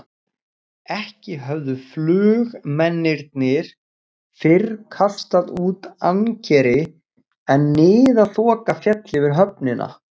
Ekki höfðu flugmennirnir fyrr kastað út ankeri, en niðaþoka féll yfir höfnina.